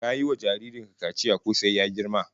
Ka yi wa jarrin ka kaciya ko sai ya girma?